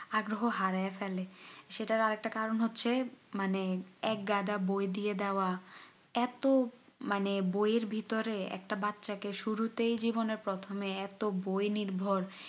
আগ্রহ হারাইয়া ফেলে সেটার আর একটা কারণ হচ্ছে মানে এক গাদা বই দিয়ে দেওয়া এতো মানে বই এর ভিতরে একটা বাচ্চাকে শুরুতেই জীবনের প্রথমে এতো বই নির্ভর